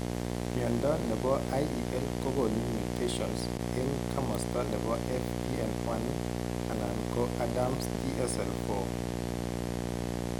Mnyondo nebo IEL kogonu mutations en kamasto nebo FBN1 anan ko ADAMTSL4